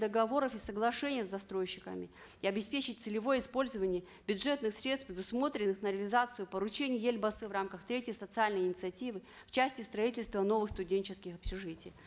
договоров и соглашений с застройщиками и обеспечить целевое использование бюджетных средств предусмотренных на реализацию поручения елбасы в рамках третьей социальной инициативы в части строитльства новых студенческих общежитий